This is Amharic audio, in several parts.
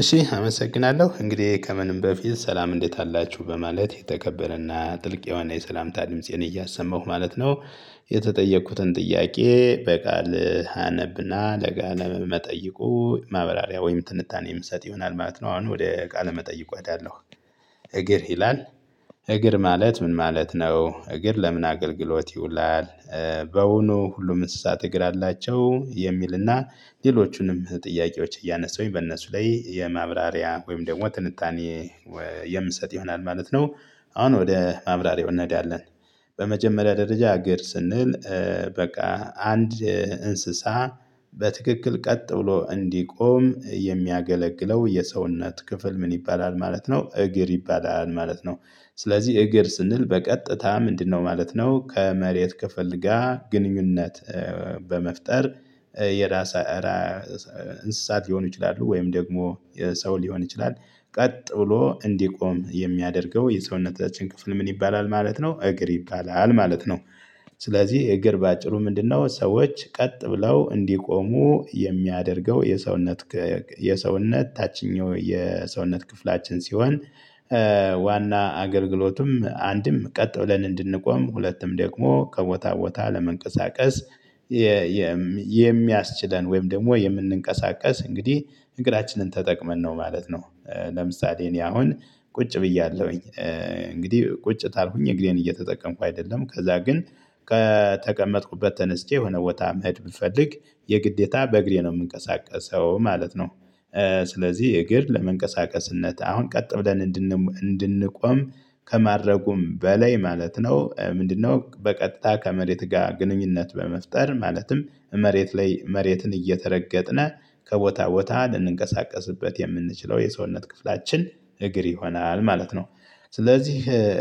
እሺ አመሰግናለሁ እንግዲህ ከምንም በፊት ሰላም እንዴት አላችሁ በማለት የተከበረና ጥልቅ የሆነ የሰላምታ ድምፄን እያሰማሁ ማለት ነው። የተጠየኩትን ጥያቄ በቃል አነብና ለጋለም ለመጠየቁ ማብራሪያ ወይም ትንታኔ የምሰጥ ይሆናል ማለት ነው አሁን ወደ ቃለ መጠየቁ እሄዳለሁ። እግር ይላል? እግር ማለት ምን ማለት ነው? እግር ለምን አገልግሎት ይውላል? በውኑ ሁሉም እንስሳት እግር አላቸው የሚልና ሌሎቹንም ጥያቄዎች እያነሳሁኝ በእነሱ ላይ የማብራሪያ ወይም ደግሞ ትንታኔ ወይ የምሰጥ ይሆናል ማለት ነው አሁን ወደ ማብራሪያው እነሄዳለን። በመጀመሪያ ደረጃ እግር ስንል በቃ አንድ እንስሳ በትክክል ቀጥ ብሎ እንዲቆም የሚያገለግለው የሰውነት ክፍል ምን ይባላል ማለት ነው? እግር ይባላል ማለት ነው። ስለዚህ እግር ስንል በቀጥታ ምንድነው ማለት ነው? ከመሬት ክፍልጋ ግንኙነት በመፍጠር የራስ እራያ እንስሳት ሊሆኑ ይችላሉ ወይም ደግሞ ሰው ሊሆን ይችላል። ቀጥ ብሎ እንዲቆም የሚያደርገው የሰውነታችን ክፍል ምን ይባላል ማለት ነው? እግር ይባላል ማለት ነው። ስለዚህ እግር በአጭሩ ምንድነው ሰዎች ቀጥ ብለው እንዲቆሙ የሚያደርገው የሰውነት ክ የሰውነት ታችኛው የሰውነት ክፍላችን ሲሆን። ዋና አገልግሎቱም አንድም ቀጥ ብለን እንድንቆም ሁለቱም ደግሞ ከቦታ ቦታ ለመንቀሳቀስ የየ የሚያስችለን ወይም ደግሞ የምንንቀሳቀስ እንግዲህ እንግራችንን ተጠቅመን ነው ማለት ነው። ለምሳሌ እኔ አሁን ቁጭ ብያለሁኝ። እንግዲህ ቁጭ ታልኩኝ እግሬን እየተጠቀምኩ አይደለም ከዛ ግን ከተቀመጥኩበት ተነስቼ የሆነ ቦታ መሄድ ብፈልግ የግዴታ በእግሬ ነው የምንቀሳቀሰው ማለት ነው። ስለዚህ እግር ለመንቀሳቀስነት አሁን ቀጥ ብለን እንድን እንድንቆም ከማድረጉም በላይ ማለት ነው ምንድነው በቀጥታ ከመሬት ጋር ግንኙነት በመፍጠር ማለትም መሬት ላይ መሬትን እየተረገጥነ ከቦታ ቦታ ልንንቀሳቀስበት የምንችለው የሰውነት ክፍላችን እግር ይሆናል ማለት ነው። ስለዚህ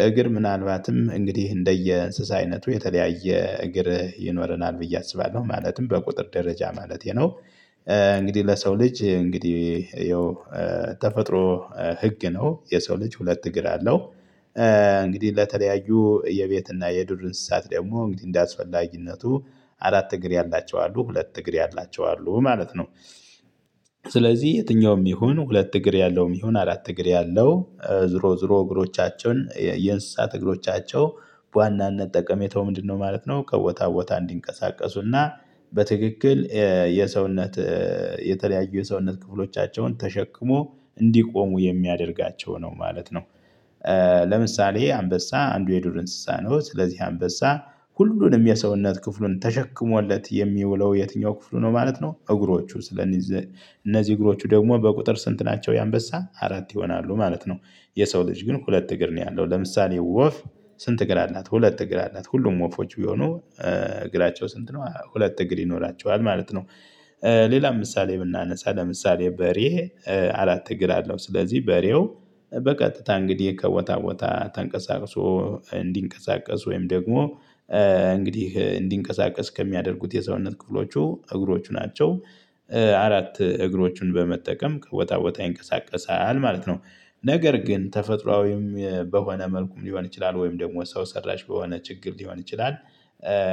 እግር ምናልባትም እንግዲህ እንደየ እንስሳ አይነቱ የተለያየ እግር ይኖረናል ብዬ አስባለሁ ማለትም በቁጥር ደረጃ ማለቴ ነው። እንግዲህ ለሰው ልጅ እንግዲህ ይኸው ተፈጥሮ ህግ ነው የሰው ልጅ ሁለት እግር አለው። እንግዲህ ለተለያዩ የቤት እና የዱር እንስሳት ደግሞ እንግዲህ እንደአስፈላጊነቱ አራት እግር ያላቸው አሉ ሁለት እግር ያላቸው አሉ ማለት ነው። ስለዚህ የትኛውም ይሁን ሁለት እግር ያለውም ይሁን አራት እግር ያለው ዝሮ ዝሮ እግሮቻችን የእንስሳት እግሮቻቸው ዋናነት ጠቀሜታው ምንድነው ማለት ነው? ከቦታ ቦታ እንዲንቀሳቀሱና በትክክል የየሰውነት የተለያዩ የሰውነት ክፍሎቻቸውን ተሸክሞ እንዲቆሙ የሚያደርጋቸው ነው ማለት ነው። ለምሳሌ አንበሳ አንዱ የዱር እንስሳ ነው። ስለዚህ አንበሳ ሁሉንም የሰውነት ክፍሉን ተሸክሞለት የሚውለው የትኛው ክፍሉ ነው ማለት ነው? እግሮቹ ስለንይዘ እነዚህ እግሮቹ ደግሞ በቁጥር ስንት ናቸው የአንበሳ አራት ይሆናሉ ማለት ነው። የሰው ልጅ ግን ሁለት እግር ነው ያለው። ለምሳሌ ወፍ ስንት እግር አላት ሁለት እግር አላት። ሁሉም ወፎች ቢሆኑ እግራቸው ስንት ነው ሁለት እግር ይኖራቸዋል ማለት ነው። ሌላም ምሳሌ ብናነሳ ለምሳሌ በሬ አራት እግር አለው። ስለዚህ በሬው በቀጥታ እንግዲህ ከቦታ ቦታ ተንቀሳቅሶ እንዲንቀሳቀስ ወይም ደግሞ እንግዲህ እንዲንቀሳቀስ ከሚያደርጉት የሰውነት ክፍሎቹ እግሮቹ ናቸው። አራት እግሮቹን በመጠቀም ከወጣ ወጣ ይንቀሳቀሳል ማለት ነው። ነገር ግን ተፈጥሮአዊም በሆነ መልኩም ሊሆን ይችላል ወይም ደግሞ ሰው ሰራሽ በሆነ ችግር ሊሆን ይችላል።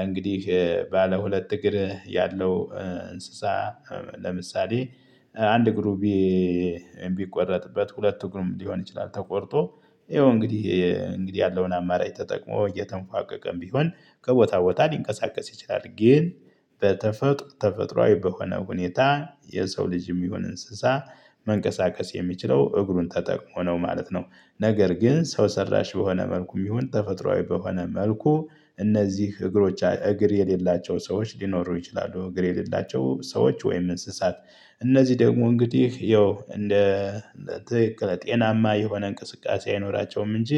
እንግዲህ ባለ ሁለት እግር ያለው እንስሳ ለምሳሌ አንድ እግሩ ቢ ቢቆረጥበት ሁለት ግሩም ሊሆን ይችላል ተቆርጦ ይኸው እንግዲህ እንግዲህ ያለውን አማራጭ ተጠቅሞ እየተንፏቀቀም ቢሆን ከቦታ ቦታ ሊንቀሳቀስ ይችላል። ግን በተፈጥሮ ተፈጥሮአዊ በሆነ ሁኔታ የሰው ልጅም ይሁን እንስሳ መንቀሳቀስ የሚችለው እግሩን ተጠቅሞ ነው ማለት ነው። ነገር ግን ሰው ሰራሽ በሆነ መልኩም ይሁን ተፈጥሮአዊ በሆነ መልኩ እነዚህ እግሮች እግር የሌላቸው ሰዎች ሊኖሩ ይችላሉ እግር የሌላቸው ሰዎች ወይም እንስሳት። እነዚህ ደግሞ እንግዲህ ያው እንደ ትክክለ ጤናማ የሆነ እንቅስቃሴ አይኖራቸውም እንጂ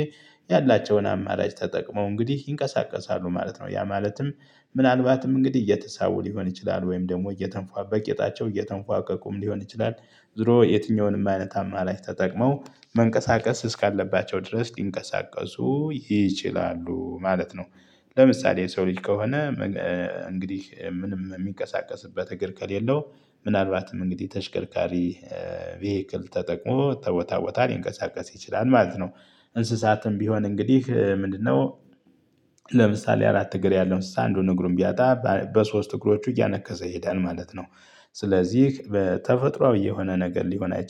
ያላቸውን አማራጭ ተጠቅመው እንግዲህ ይንቀሳቀሳሉ ማለት ነው። ያ ማለትም ምናልባትም እንግዲህ እየተሳቡ ሊሆን ይችላል ወይም ደግሞ እየተንፏበ በቄጣቸው የተንፏቀቁም ሊሆን ይችላል። ዞሮ የትኛውንም አይነት አማላጭ ተጠቅመው መንቀሳቀስ እስካለባቸው ድረስ ሊንቀሳቀሱ ይችላሉ ማለት ነው። ለምሳሌ የሰው ልጅ ከሆነ እንግዲህ ምንም የሚንቀሳቀስበት እግር ከሌለው ምናልባትም እንግዲህ ተሽከርካሪ ቪሄክል ተጠቅሞ ተቦታ ቦታ ሊንቀሳቀስ ይችላል ማለት ነው። እንስሳትም ቢሆን እንግዲህ ምንድነው? ለምሳሌ አራት እግር ያለው እንስሳ አንዱን እግሩን ቢያጣ በሶስት እግሮቹ እያነከሰ ይሄዳል ማለት ነው። ስለዚህ በተፈጥሮአዊ የሆነ ነገር ሊሆን አይችልም